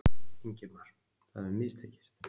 Ingimar: Það hefur mistekist?